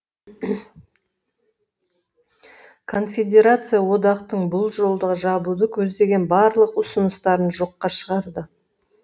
конфедерация одақтың бұл жолды жабуды көздеген барлық ұрыныстарын жоққа шығарды